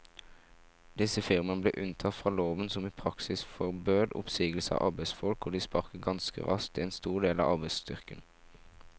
Disse firmaene ble unntatt fra loven som i praksis forbød oppsigelse av arbeidsfolk, og de sparket ganske raskt en stor del av arbeidsstyrken.